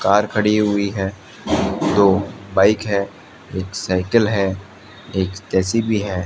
Car खड़ी हुई है दो बाइक है एक साइकिल है एक जे_सी_बी है।